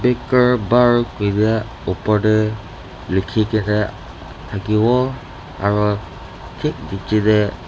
bar koine opor te likhi kene thakiwo aru thik niche te.